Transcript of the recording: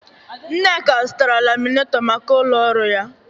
Nneka zụtara laminetọ maka ụlọ ọrụ ya.